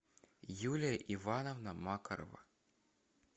юлия ивановна макарова